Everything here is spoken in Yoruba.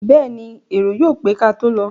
Bẹ́ẹ̀ni, èrò yóò pé kátó lọ.